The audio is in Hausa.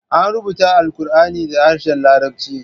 An rubuta Alqur'ani da harshen Larabci.